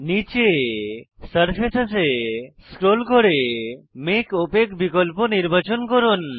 নীচে সারফেসেস এ স্ক্রোল করে মেক ওপাক বিকল্প নির্বাচন করুন